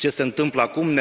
Ce se întâmplă acum?